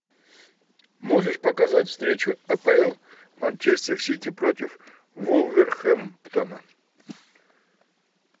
можешь показать встречу апл манчестер сити против вулверхэмптона